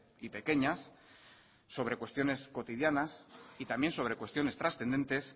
y pequeñas sobre cuestiones cotidianas y también sobre cuestiones transcendentes